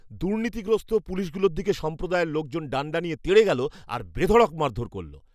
দুর্নীতিগ্রস্ত পুলিশগুলোর দিকে সম্প্রদায়ের লোকজন ডাণ্ডা নিয়ে তেড়ে গেল আর বেধড়ক মারধর করল!